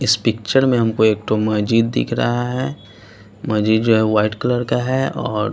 इस पिक्चर में हमको एक तो मस्जिद दिख रहा है मजीद जो है वाइट कलर का हैऔर --